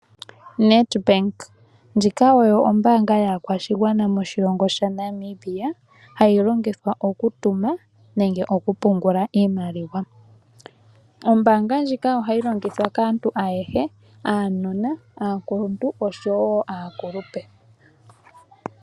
Nedbank, ndjika oyo ombaanga yaakwashigwana moshilongo shaNamibia, hayi longithwa okutuma nenge okupungula iimaliwa. Ombaanga ndjika ohayi longithwa kaantu ayehe, aanona, aakuluntu osho wo aakulupe.